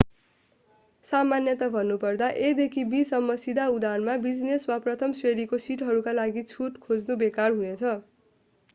सामान्यतया भन्नुपर्दा a देखि b सम्म सीधा उडानमा बिजनेस वा प्रथम श्रेणीको सिटहरूका लागि छुट खोज्नु बेकार हुनेछ